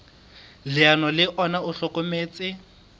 leano le ona o hlokometse